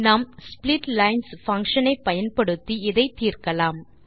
நாம் splitlines function ஐ பயன்படுத்தி இதை தீர்க்கலாம்